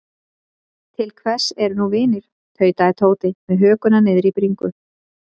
Til hvers eru nú vinir. tautaði Tóti með hökuna niðri í bringu.